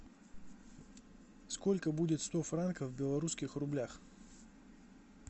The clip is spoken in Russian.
сколько будет сто франков в белорусских рублях